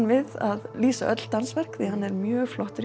við að lýsa öll dansverk því hann er mjög flottur